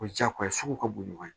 O ye diyagoya ye sugu ka bon ɲɔgɔn ye